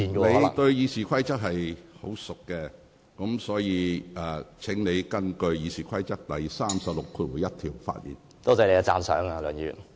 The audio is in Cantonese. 你對《議事規則》很熟悉，所以請你根據《議事規則》第361條的規定發言。